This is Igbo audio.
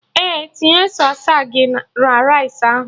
Ee, tinye sausagi na rice ahụ